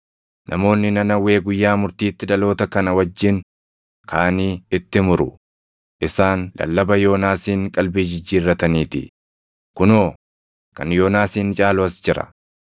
Namoonni Nanawwee guyyaa murtiitti dhaloota kana wajjin kaʼanii itti muru; + 12:41 \+xt Yon 3:5\+xt* isaan lallaba Yoonaasiin qalbii jijjiirrataniitii; kunoo, kan Yoonaasin caalu as jira.